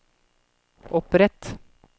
opprett